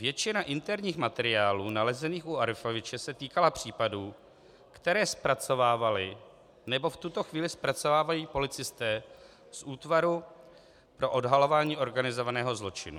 Většina interních materiálů nalezených u Arifoviče se týkala případů, které zpracovávali nebo v tuto chvíli zpracovávají policisté z Útvaru pro odhalování organizovaného zločinu."